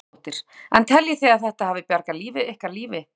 Hugrún Halldórsdóttir: En teljið þið að þetta hafi bjargað ykkar lífi?